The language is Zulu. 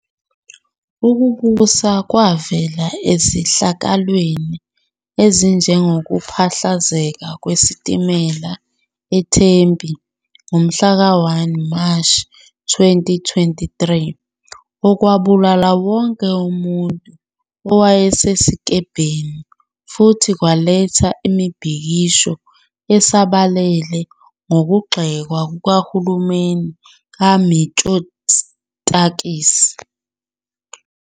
Ukubusa kwavela ezehlakalweni ezinjengokuphahlazeka kwesitimela eTempi ngomhla ka-1 Mashi 2023 okwabulala wonke umuntu owayesesikebheni futhi kwaletha imibhikisho esabalele nokugxekwa kuhulumeni kaMitsotakis.